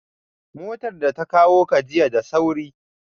Motar da ta kawo ka jiya da sauri?